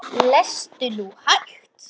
Lestu nú hægt!